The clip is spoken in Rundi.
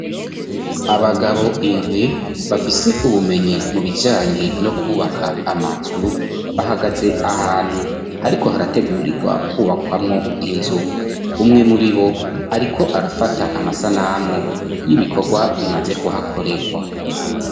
Abagabo indwi bafise ubumenyi mu bijanye no kubaka amazu, bahagatse ahantu ariko harategurirwa kubakwamwo inzu. Umwe muri bo ariko arafata amasanamu y'ibikorwa bimaze kuhakorerwa.